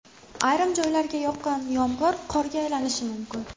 Ayrim joylarga yoqqan yomg‘ir qorga aylanishi mumkin.